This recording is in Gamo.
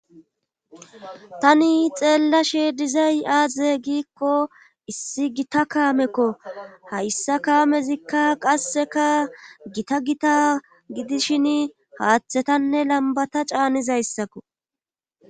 Tani xeellashe dizay aaze giikko issi gita kaamekko hayssa kaamezikka qasseka gita gita gidishin haaththetanne lambata caanizayssakko